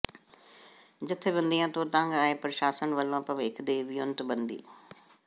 ਜਥੇਬੰਦੀਆਂ ਤੋਂ ਤੰਗ ਆਏ ਪ੍ਰਸ਼ਾਸਨ ਵੱਲੋਂ ਭਵਿੱਖ ਦੀ ਵਿਉਂਤਬੰਦੀ